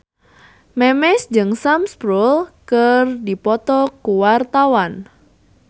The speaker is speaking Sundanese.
Memes jeung Sam Spruell keur dipoto ku wartawan